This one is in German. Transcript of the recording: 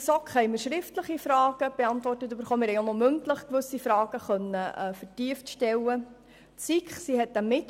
In der GSoK wurden uns sowohl schriftliche als auch mündliche Fragen, die wir vertieft stellen konnten, beantwortet.